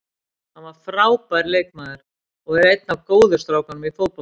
Hann var frábær leikmaður og er einn af góðu strákunum í fótboltanum.